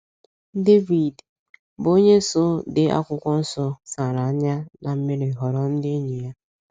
Devid, bụ́ onye so dee akwụkwọ nso, sara anya ná mmiri họrọ ndị enyi ya.